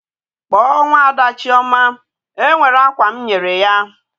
Kpọọ nwaada Chioma! E nwere akwa m nyere ya.